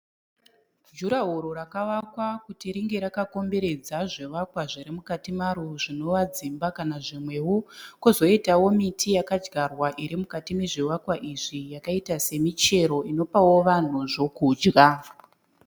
Jurahoro rakavakwa kuti ringe rakakomberedza zvivakwa zviri mukati maro zvinova dzimba kana zvimwewo. Kozoitawo miti yakadyarwa iri mukati mezvivakwa izvi yakaita semichero inopawo vanhu zvokudya.